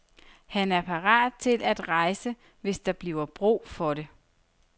Han er parat til at rejse, hvis der bliver brug for det.